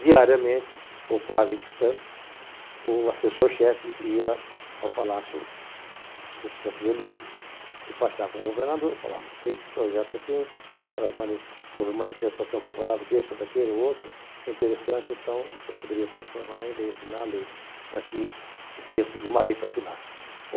Diariamente, ou quase que tanto, o assessor-chefe ia ao Palácio dos Campos Elíseos, despachar com o governador e falar, tem esse projeto assim, houve manifestação favorável desse ou daquele ou outro, é interessante, então o senhor poderia transformar em lei, assinar a lei, está aqui o texto de uma lei para assinar.